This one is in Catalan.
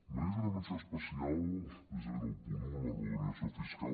mereix una menció especial precisament el punt un la reordenació fiscal